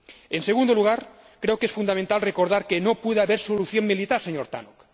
En segundo lugar, creo que es fundamental recordar que no puede haber solución militar, señor Tannock.